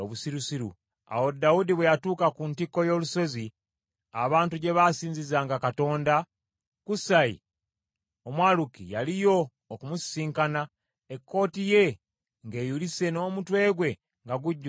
Awo Dawudi bwe yatuuka ku ntikko y’olusozi, abantu gye baasinzizanga Katonda, Kusaayi Omwaluki yaliyo okumusisinkana, ekkooti ye ng’eyulise n’omutwe gwe nga gujjudde enfuufu.